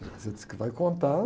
Você disse que vai contar.